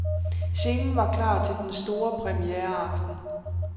Scenen var klar til den store premiereaften.